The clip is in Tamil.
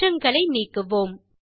மாற்றங்களை நீக்குவோம்